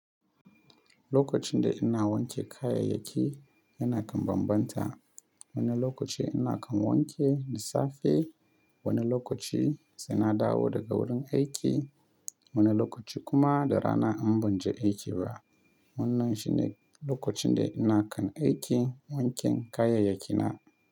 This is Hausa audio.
Lokacin da ina wanke kayayyaki, yana kan bambanta. Wani lokaci ina kan wanke da safe, wani lokaci sai na dawo daga wurin aiki, wani lokaci kuma da rana in ban je aiki ba. Wannan shine lokacin da ina kan aiki wanken kayayyakina.